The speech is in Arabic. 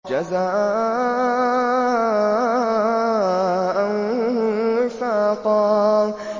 جَزَاءً وِفَاقًا